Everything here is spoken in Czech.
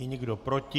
Je někdo proti?